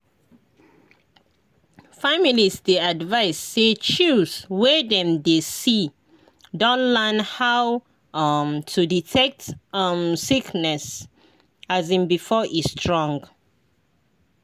families dey advised say chws wey dem dey see don learn how um to detect um sickness um before e strong.